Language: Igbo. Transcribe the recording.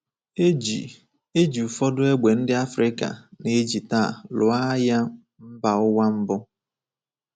E ji E ji ụfọdụ égbè ndị Afrịka na-eji taa lụọ Agha Mba Ụwa Mbụ.